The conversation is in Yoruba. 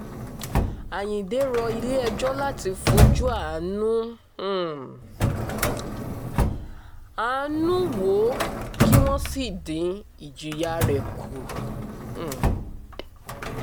àyíǹde rọ ilé-ẹjọ́ láti fojú àánú um àánú um wò ó kí wọ́n sì dín ìjìyà rẹ̀ kù um